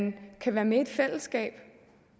vi kan være med i et fællesskab